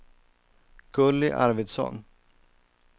Gulli Arvidsson